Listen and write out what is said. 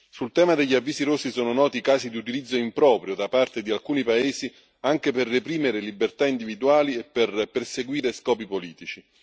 Sul tema degli avvisi rossi sono noti casi di utilizzo improprio da parte di alcuni paesi, anche per reprimere libertà individuali e per perseguire scopi politici.